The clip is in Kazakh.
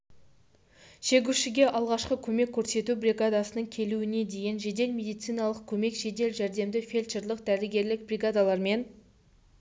шегушіге алғашқы көмек көрсету бригадасының келуіне дейін жедел медициналық көмек жедел жәрдемді фельдшерлік дәрігерлік бригадалармен